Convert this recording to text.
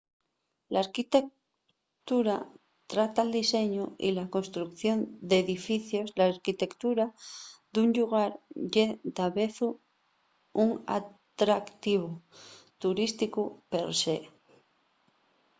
l'arquitectura trata'l diseñu y la construcción d'edificios l'arquitectura d'un llugar ye davezu un atractivu turísticu per se